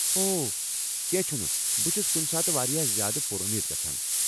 او ، کینٛہہ چُھنہٕ! بہٕ چُھس کُنہِ ساتہٕ واریاہ زیادٕ پُر اُمید گژھان ۔